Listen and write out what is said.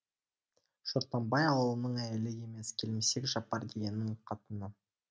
шортамбай ауылының әйелі емес келімсек жапар дегеннің қатыны